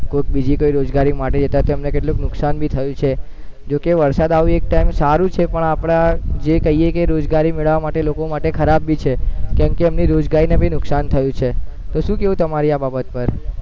કોઈક બીજી કોઈ રોજગારી માટે જતા તેમને કેટલુંક નુકસાન ભી થયું છે, જે કે વરસાદ આવે એક ટાઈમે સારું છે પણ આપણા જે કાઈએ રોજગારી મેળવવા માટે લોકો માટે ખરાબ ભી છે કેમકે રોજગારીને પછી નુકસાન થાય છે તો શું કેવું તમારું આ બાબત પર